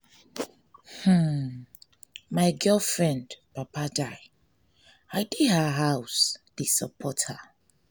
hmmn my girlfriend papa die i dey her house dey support her.